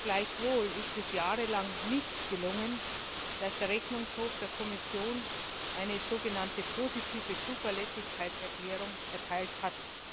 Gleichwohl ist es jahrelang nicht gelungen, dass der Rechnungshof der Kommission eine sogenannte positive Zuverlässigkeitserklärung erteilt hat.